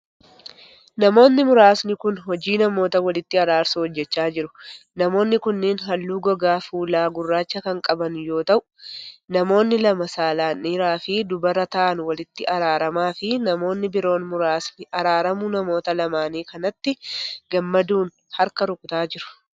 Namoonni muraasni kun, hojii namoota walitti araarsuu hojjachaa jiru. Namoonni kunneen haalluu gogaa fuulaa gurraacha kan qaban yoo ta'u, namoonni lama saalan dhiira fi dubara ta'an walitti araaramaa fi namoonni biroo muraasni araaramuu namoota lamaanii kanatti gammaduun harka rukutaa jiru.